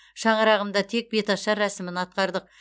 шаңырағымда тек беташар рәсімін атқардық